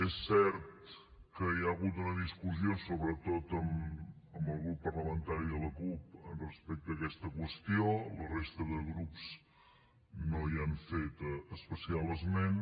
és cert que hi ha hagut una discussió sobretot amb el grup parlamentari de la cup respecte a aquesta qüestió la resta de grups no hi han fet especial esment